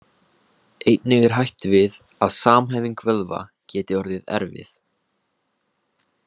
Einnig er hætt við að samhæfing vöðva geti orðið erfið.